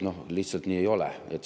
Lihtsalt nii ei ole.